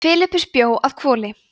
filippus bjó að hvoli